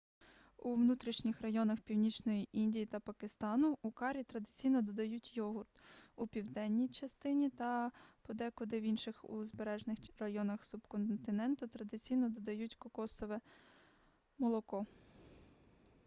у внутрішніх районах північної індії та пакистану у карі традиційно додають йогурт у південній індії та подекуди в інших узбережних районах субконтиненту традиційно додають кокосове молоко